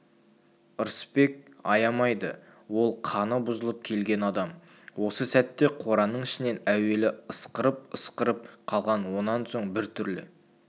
ырысбек аямайды ол қаны бұзылып келген адам осы сәтте қораның ішінен әуелі ысқырып-ысқырып қалған онан соң бір түрлі